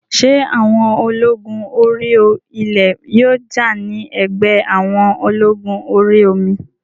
Ṣé àwọn ológun orí ilẹ̀ yóò jà ní ẹ̀gbẹ́ àwọn ológun orí omi?